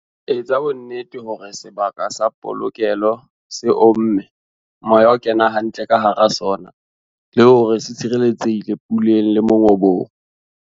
Etsa bonnete hore sebaka sa polokelo se omme, moya o kena hantle ka hara sona, le hore se tshireletsehile puleng le mongobong.